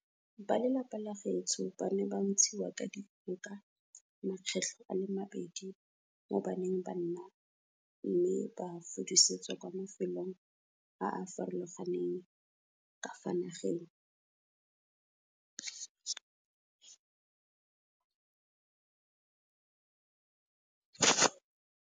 Ba lelapa la gaetsho ba ne ba ntshiwa ka dikgoka makgetlho a le mabedi mo ba neng ba nna me ba fudusetswa kwa mafelong a a farologaneng ka fa nageng.